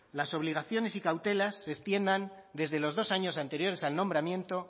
las obligaciones y cautelas se extiendan desde los dos años anteriores al nombramiento